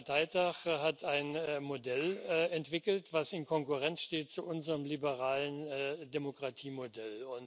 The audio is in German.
19. Parteitag hat ein Modell entwickelt, das in Konkurrenz steht zu unserem liberalen Demokratiemodell.